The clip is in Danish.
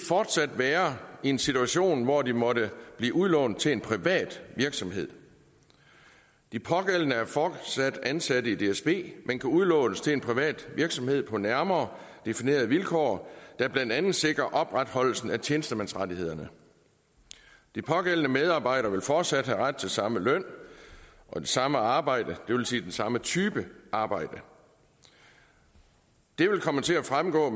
fortsat være i en situation hvor de måtte blive udlånt til en privat virksomhed de pågældende er fortsat ansat i dsb men kan udlånes til en privat virksomhed på nærmere definerede vilkår der blandt andet sikrer opretholdelsen af tjenestemandsrettighederne de pågældende medarbejdere vil fortsat have ret til den samme løn og det samme arbejde det vil sige den samme type arbejde det vil komme til at fremgå